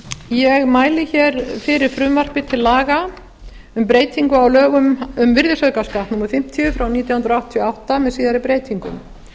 ég mæli fyrir frumvarpi til laga um breytingu á lögum um virðisaukaskatt númer fimmtíu nítján hundruð áttatíu og átta með síðari breytingum